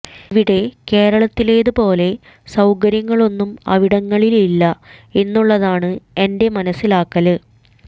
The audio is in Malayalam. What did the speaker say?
ഇവിടെ കേരളത്തിലേത് പോലെ സൌകര്യങ്ങളൊന്നും അവിടങ്ങളില് ഇല്ല എന്നുള്ളതാണ് എന്റെ മനസ്സിലാക്കല്